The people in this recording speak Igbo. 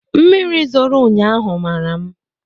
Mmiri zoro ụnyaahụ mara m